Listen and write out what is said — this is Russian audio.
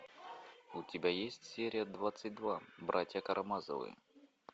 у тебя есть серия двадцать два братья карамазовы